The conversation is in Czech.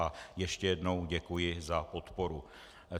A ještě jednou děkuji za podporu.